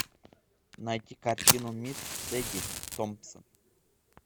найти картину мисс сэди томпсон